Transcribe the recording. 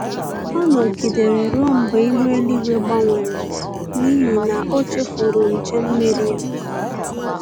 Ọ nọgidere ruo mgbe ihu eluigwu gbanwere n'ihi na o chefuru nche mmiri ya